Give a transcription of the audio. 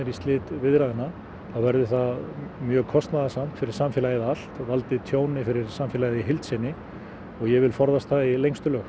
í slit viðræðna þá verði það mjög kostnaðarsamt fyrir samfélagið allt og valdi tjóni fyrir samfélagið í heild sinn i og ég vil forðast það í lengstu lög